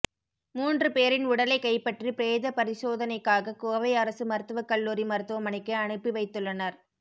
மூன்று பேரின் உடலை கைப்பற்றி பிரேத பரிசோதனைக்காக கோவை அரசு மருத்துவக்கல்லூரி மருத்துவமனைக்கு அனுப்பி வைத்துள்ளனர்